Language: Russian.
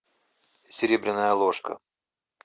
серебряная ложка